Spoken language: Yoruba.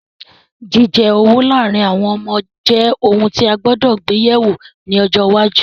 Jíjẹ owú láàrin àwon ọmọ je oun ti a gbúdọ̀ gbe yẹ̀wo ni ojo iwáju